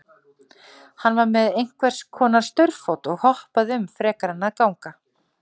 Hann var með einhvers konar staurfót og hoppaði um frekar en að ganga.